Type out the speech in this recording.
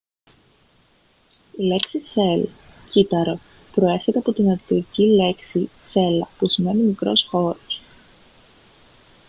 η λέξη cell κύτταρο προέρχεται από τη λατινική λέξη cella που σημαίνει μικρός χώρος